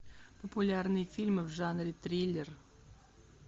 популярные фильмы в жанре триллер